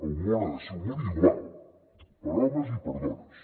el món ha de ser un món igual per a homes i per a dones